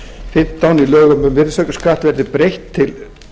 fimmtán í lögum um virðisaukaskatt verði breytt til